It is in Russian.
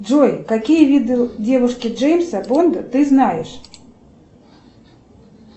джой какие виды девушки джеймса бонда ты знаешь